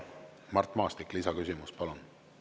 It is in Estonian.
Mart Maastik, lisaküsimus, palun!